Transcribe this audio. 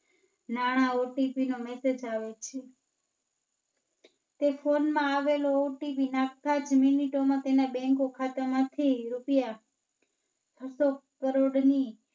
નાણાં OTP નો Message આવે છે. તે Phone માં આવેલો OTPMinutes માં તેના બઁક ખાતા માથી રૂપિયા છસ્સો કરોડ ની